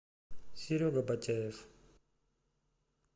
серега ботяев